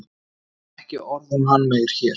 En ekki orð um hann meir hér.